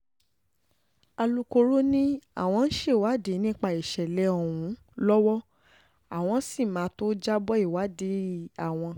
alūkró ni àwọ́n ń ṣèwádìí nípa ìṣẹ̀lẹ̀ ọ̀hún lọ́wọ́ àwọn sì máa tóó jábọ́ ìwádìí àwọn